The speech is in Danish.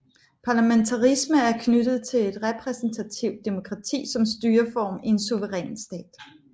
Parlamentarisme er knyttet til repræsentativt demokrati som styreform i en suveræn stat